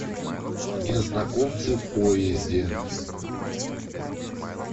незнакомцы в поезде